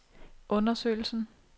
undersøgelsen